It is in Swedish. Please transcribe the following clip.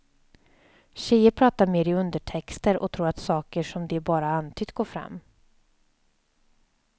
Tjejer pratar mer i undertexter och tror att saker som de bara antytt går fram.